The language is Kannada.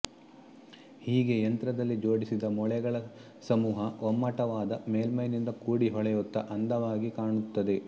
ಹೀಗೆ ಯಂತ್ರದಲ್ಲಿ ಜೋಡಿಸಿದ ಮೊಳೆಗಳ ಸಮೂಹ ಒಮ್ಮಟ್ಟವಾದ ಮೇಲ್ಮೈನಿಂದ ಕೂಡಿ ಹೊಳೆಯುತ್ತ ಅಂದವಾಗಿ ಕಾಣುತ್ತದೆ